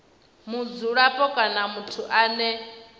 mudzulapo kana muthu ane a